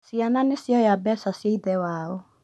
Ciana nĩ cioya mbeca cia ithe wao